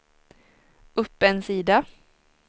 upp en sida